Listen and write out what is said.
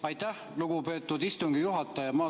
Aitäh, lugupeetud istungi juhataja!